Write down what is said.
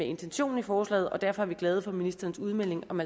intentionen i forslaget og derfor er vi glade for ministerens udmelding om